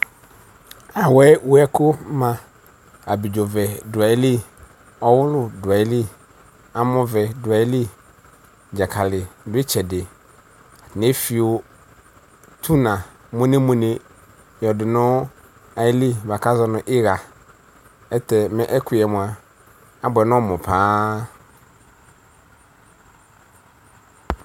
Awɛ wɛkʊ ma abɩdzovɛ dʊayɩlɩ ɔwulʊ duayɩlɩ amɔvɛ duayɩlɩ dzakalɩ dʊ ɩtsɛdɩ eflɩyo tʊna muenemuene yɔdʊ nʊ ɩtsɛdɩ buaku azɔnʊ ixa ɛkʊyɛ abuɛ nɔmʊ paa